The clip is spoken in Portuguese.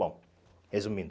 Bom, resumindo.